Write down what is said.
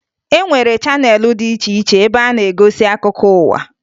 E nwere chaneelụ dị iche iche ebe a na-egosi akụkọ ụwa